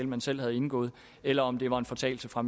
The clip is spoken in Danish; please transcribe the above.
man selv har indgået eller om det var en fortalelse fra